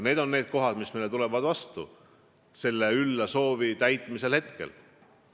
Need on need tõkked, mis meil selle ülla soovi täitmist hetkel takistavad.